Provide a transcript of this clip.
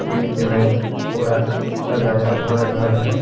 बीच में पूरा सजाया हुआ घर है।